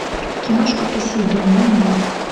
киношка посейдон найди